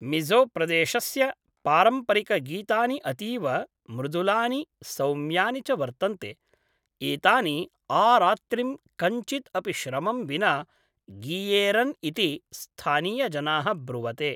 मिज़ोप्रदेशस्य पारम्परिकगीतानि अतीव मृदुलानि सौम्यानि च वर्तन्ते, एतानि आरात्रिं कञ्चिद् अपि श्रमं विना गीयेरन् इति स्थानीयजनाः ब्रुवते।